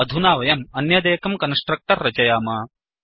अधुना वयम् अन्यदेकं कन्स्ट्रक्टर् रचयाम